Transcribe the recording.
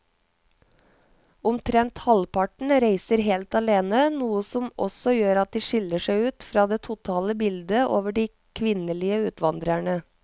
Omtrent halvparten reiser helt alene, noe som også gjør at de skiller seg ut fra det totale bildet av de kvinnelige utvandrerne.